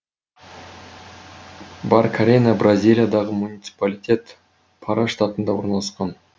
баркарена бразилиядағы муниципалитет пара штатында орналасқан